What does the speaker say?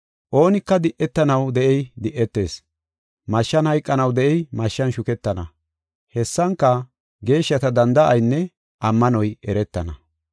Oonika di7etanaw de7ey di7etees. Mashshan hayqanaw de7ey mashshan shuketana. Hessanka geeshshata danda7aynne ammanoy eretana.